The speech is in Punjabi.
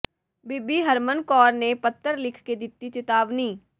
ਬੀਬੀ ਹਰਮਨ ਕੌਰ ਨੇ ਪੱਤਰ ਲਿਖ ਕੇ ਦਿੱਤੀ ਚਿਤਾਵਨੀ